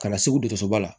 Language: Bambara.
Ka na segu dosoba la